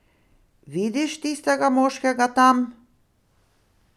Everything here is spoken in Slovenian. Vidiš tistega moškega tam?